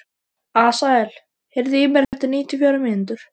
Asael, heyrðu í mér eftir níutíu og fjórar mínútur.